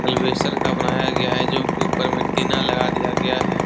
एल्वेस्टर का बनाया गया है जो की ऊपर मे टिना लगा दिया गया है।